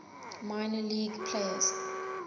minor league players